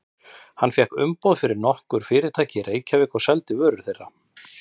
Hann fékk umboð fyrir nokkur fyrirtæki í Reykjavík og seldi vörur þeirra.